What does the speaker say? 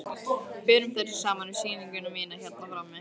Berum þær svo saman við sýninguna mína hérna frammi.